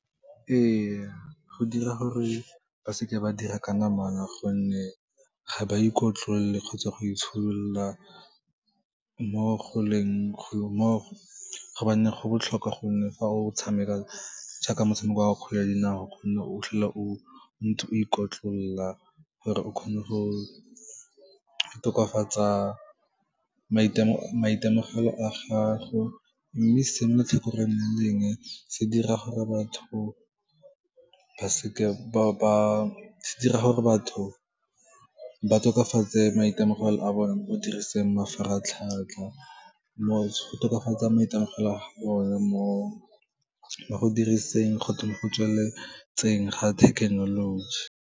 Ee, go dira gore ba seke ba dira ka namana gonne ga ba ikotlolole kgotsa go itsholola, gobane go botlhokwa gonne fa o tshameka jaaka motshameko wa kgwele ya dinao gonne o tlhola o ntse o ikotlolola gore o kgone go tokafatsa maitemogelo a gago, mme se ne tlhokang go nnang leng, se dira gore batho ba tokafatse maitemogelo a bone mo go diriseng mafaratlhatlha, go tokafatsa maitemogelo a bone mo go diriseng kgotsa mo go tsweletseng ga thekenoloji.